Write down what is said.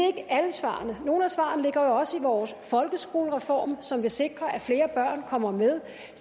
ikke alle svarene nogle af svarene ligger jo også i vores folkeskolereform som vil sikre at flere børn kommer med